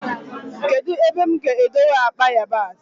Kedụ ebe mụ ga-edebe akpa yabasị?